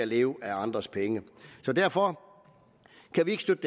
leve af andres penge derfor kan vi ikke støtte